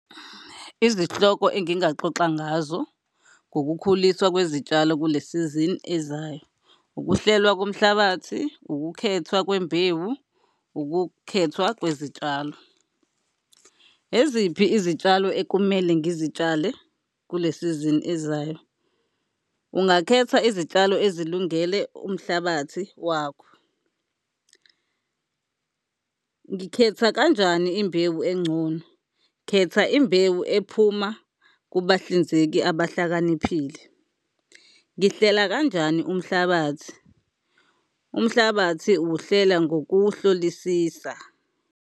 Izihloko engingaxoxa ngazo ngokukhuliswa kwezitshalo kule sizini ezayo, ukuhlelwa komhlabathi, ukukhethwa kwembewu, ukukhethwa kwezitshalo. Eziphi izitshalo ekumele ngizitshale kule sizini ezayo? Ungakhetha izitshalo ezilungele umhlabathi wakho. Ngikhetha kanjani imbewu engcono? Khetha imbewu ephuma kubahlinzeki abahlakaniphile. Ngihlela kanjani umhlabathi? Umhlabathi uwuhlela ngokuwuhlolisisa.